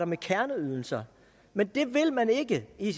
med kerneydelser men det vil man ikke i